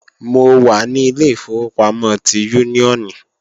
Mo wà ní ilé ìfowópamọ́ ti Úníónì